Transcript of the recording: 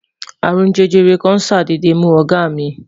arun jẹjẹrẹ kàn sadede mu ọgá mí